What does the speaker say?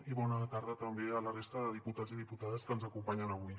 i bona tarda també a la resta de diputats i diputades que ens acompanyen avui